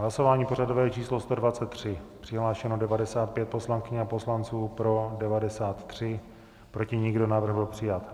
Hlasování pořadové číslo 123, přihlášeno 95 poslankyň a poslanců, pro 93, proti nikdo, návrh byl přijat.